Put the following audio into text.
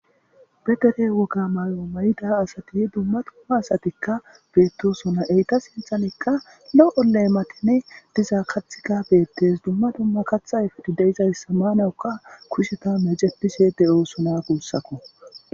be dere woga may7o mayida asati dumma dumma asatikka beettosona eyta sinthanikka lo7o lee matene dizaa kathika beettes dumma dumma kathayfedi deizayssa maanawuka kusheta mejepishe de7oosona guussako